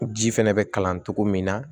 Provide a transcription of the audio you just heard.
Ji fɛnɛ bɛ kalan cogo min na